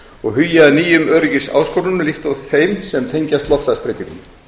og hugi að nýjum öryggisáskorunum líkt og þeim sem tengjast loftslagsbreytingum